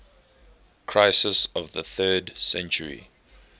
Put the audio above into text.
crisis of the third century